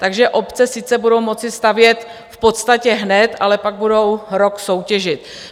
Takže obce sice budou moci stavět v podstatě hned, ale pak budou rok soutěžit.